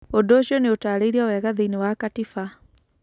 Ũndũ ũcio nĩ utarĩirĩo wega thĩinĩ wa katiba.